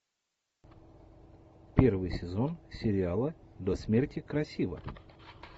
первый сезон сериала до смерти красива